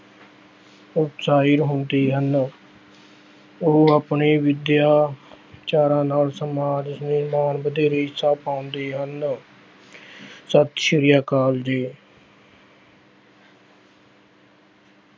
ਹੁੰਦੇ ਹਨ ਉਹ ਆਪਣੀ ਵਿਦਿਆ ਚਾਰਾਂ ਨਾਲ ਸਮਾਜ ਵਧੇਰੇ ਹਿੱਸਾ ਪਾਉਂਦੇ ਹਨ ਸਤਿ ਸ੍ਰੀ ਅਕਾਲ ਜੀ।